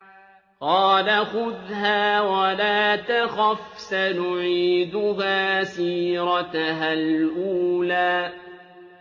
قَالَ خُذْهَا وَلَا تَخَفْ ۖ سَنُعِيدُهَا سِيرَتَهَا الْأُولَىٰ